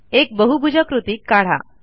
एक बहुभुजाकृती काढा